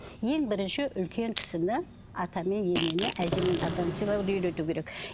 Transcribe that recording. ең бірінші үлкен кісіні ата мен енені әже мен атаны сыйлауды үйрету керек